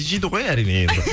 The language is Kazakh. жейді ғой әрине енді